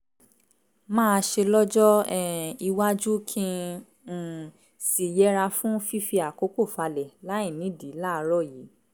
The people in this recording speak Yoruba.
màá ṣe lọ́jọ́ um iwájú kí n um sì yẹra fún fífi àkókò falẹ̀ láìnídìí láàárọ̀ yìí